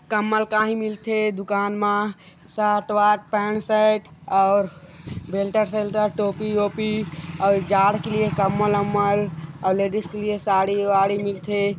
कम्बल काही मिलथे दुकान म सर्ट वर्ट पेंट शर्ट बेलटर शेल्टर टोपी-वोपी अउ जाड़ के लिए कम्बल-वम्ब्ल अउ लेडीस के लिए साड़ी-वाडी मिलथे।